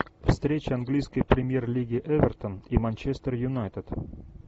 встреча английской премьер лиги эвертон и манчестер юнайтед